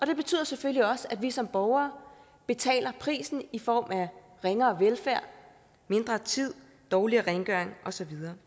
det betyder selvfølgelig også at vi som borgere betaler prisen i form af ringere velfærd mindre tid dårligere rengøring og så videre